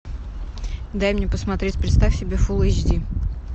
дай мне посмотреть представь себе фул эйч ди